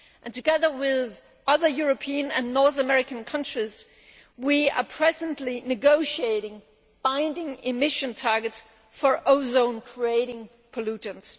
Together with other European and North American countries, we are presently negotiating binding emission targets for ozone creating pollutants.